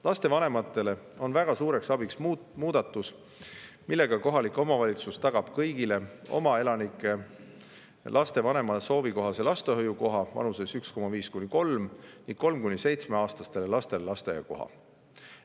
Lapsevanematele on väga suureks abiks muudatus, mille kohaselt kohalik omavalitsus tagab kõigile 1,5–3-aastastele lastele lapsevanema soovi kohase lastehoiukoha ning 3–7-aastastele lastele lasteaiakoha.